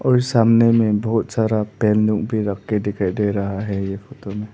और सामने में बहुत सारा पेन लोग भीं रख के दिखाई दे रहा है ये फोटो मे।